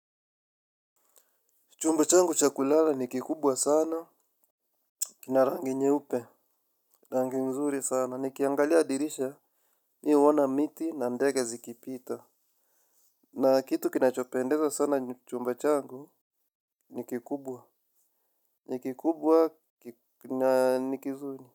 Chumba changu cha kulala ni kikubwa sana. Kina rangi nyeupe. Rangi nzuri sana. Nikiangalia dirisha. Mimi huona miti na ndege zikipita. Na kitu kinachopendeza sana chumba changu nikikubwa. Nikikubwa na nikizuri.